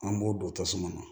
An b'o don tasuma na